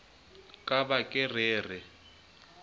ka ba ke re re